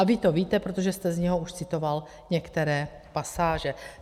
A vy to víte, protože jste z něj už citoval některé pasáže.